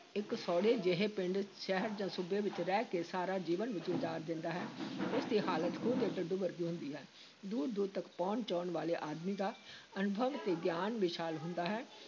ਇੱਕ ਸੌੜੇ ਜਿਹੇ ਪਿੰਡ, ਸ਼ਹਿਰ ਜਾਂ ਸੂਬੇ ਵਿਚ ਰਹਿ ਕੇ ਸਾਰਾ ਜੀਵਨ ਗੁਜ਼ਾਰ ਦਿੰਦਾ ਹੈ ਉਸ ਦੀ ਹਾਲਤ ਖੂਹ ਦੇ ਡੱਡੂ ਵਰਗੀ ਹੁੰਦੀ ਹੈ, ਦੂਰ-ਦੂਰ ਤੱਕ ਭਉਣ-ਚਉਣ ਵਾਲੇ ਆਦਮੀ ਦਾ ਅਨੁਭਵ ਤੇ ਗਿਆਨ ਵਿਸ਼ਾਲ ਹੁੰਦਾ ਹੈ।